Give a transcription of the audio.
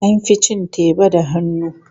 An fi cin teba da hannu.